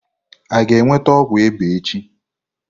A ga-enweta ọgwụ ịba echi?